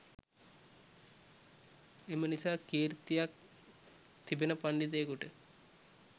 එම නිසා කීර්තියක් තිබෙන පණ්ඩිතයකුට